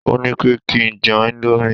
o nipé kí njé Indomie